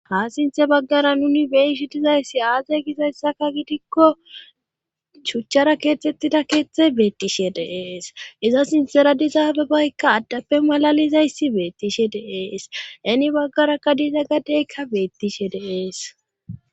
Ha sinthe baggara nuni beishi dizayssi aaze gizayssaka gidikko chuchchara keethtettida keeththe beettishe deees iza sintera dizaabebaykka addappe malalizayssi beettishe deees teni baggaraka diiza gadeykka beettishe deees